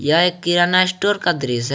यह एक किराना स्टोर का दृश्य है।